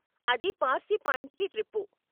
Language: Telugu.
అది పార్శి పాయింట్కి ట్రిప్పు.